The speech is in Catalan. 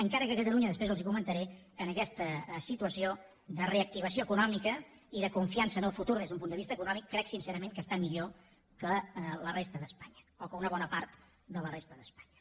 encara que catalunya després els ho comentaré en aquesta situació de reactivació econòmica i de confiança en el futur des d’un punt de vista econòmic crec sincerament que està millor que la resta d’espanya o que una bona part de la resta d’espanya